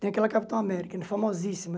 Tem aquela Capitão América, é famosíssima.